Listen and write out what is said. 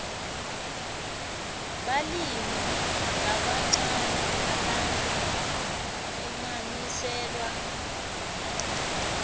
balimi labancane labalinganiselwa